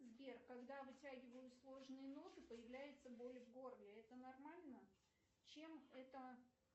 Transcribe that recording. сбер когда вытягиваю сложные ноты появляется боль в горле это нормально чем это